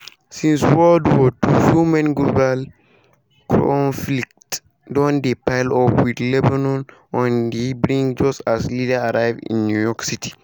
since world war two so many global conflicts don dey pile up wit lebanon on di brink just as leaders arrive in new york city.